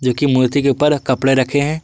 जो कि मूर्ति के ऊपर कपड़े रखे हैं।